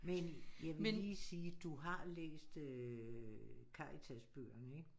Men jeg vil lige sige du har læst øh Karitas-bøgerne ikke